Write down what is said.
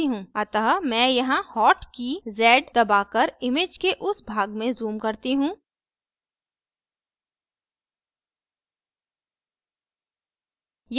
अतः मैं यहाँ hot की z दबाकर image के उस भाग में zoom करती hot